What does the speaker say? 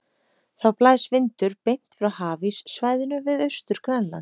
Þá blæs vindur beint frá hafíssvæðinu við Austur-Grænland.